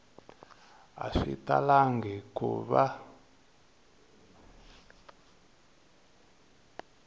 a swi talangi ku va